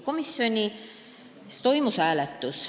Komisjonis toimus hääletus.